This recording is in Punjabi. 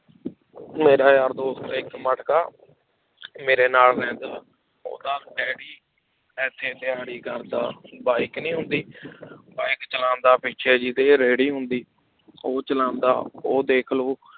ਮੇਰਾ ਯਾਰ ਦੋਸਤ ਹੈ ਇੱਕ ਮਟਕਾ ਮੇਰੇ ਨਾਲ ਰਹਿੰਦਾ, ਉਹਦਾ ਡੈਡੀ ਇੱਥੇ ਦਿਹਾੜੀ ਕਰਦਾ bike ਨੀ ਹੁੰਦੀ bike ਚਲਾਉਂਦਾ ਪਿੱਛੇ ਜਿਹਦੇ ਰੇਹੜੀ ਹੁੰਦੀ, ਉਹ ਚਲਾਉਂਦਾ ਉਹ ਦੇਖ ਲਓ